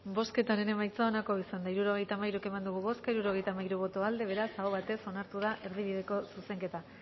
bozketaren emaitza onako izan da hirurogeita hamairu eman dugu bozka hirurogeita hamairu boto aldekoa beraz aho batez onartu da erdibideko zuzenketa